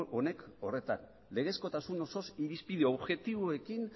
honek horretan legezkotasun osoz irizpide objektiboekin